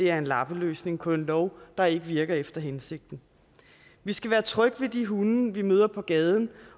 er en lappeløsning på en lov der ikke virker efter hensigten vi skal være trygge ved de hunde vi møder på gaden